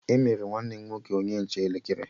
Emere nwanne m nwoke onye nche elekere